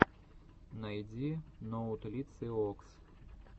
найди ноутлициокс